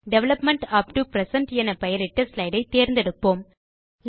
development up to present என பெயரிட்ட slide ஐ தேர்ந்தெடுப்போம்